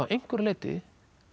einhverju leyti